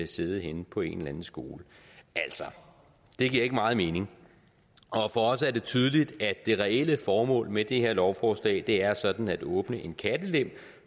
sidde henne på en eller anden skole altså det giver ikke meget mening og for os er det tydeligt at det reelle formål med det her lovforslag er sådan at åbne en kattelem